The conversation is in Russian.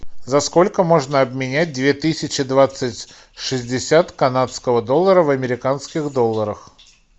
за сколько можно обменять две тысячи двадцать шестьдесят канадского доллара в американских долларах